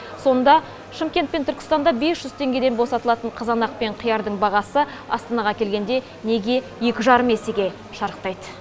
сонда шымкент пен түркістанда бес жүз теңгеден босатылатын қызанақ пен қиярдың бағасы астанаға келгенде неге екі жарым есеге шарықтайды